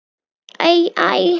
Æ, æ!